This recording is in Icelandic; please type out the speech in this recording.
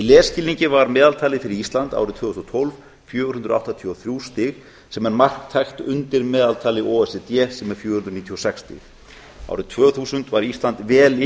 lesskilningi var meðaltalið fyrir ísland árið tvö þúsund og tólf fjögur hundruð áttatíu og þrjú stig sem er marktækt undir meðaltali o e c d sem er fjögur hundruð níutíu og sex stig árið tvö þúsund var ísland vel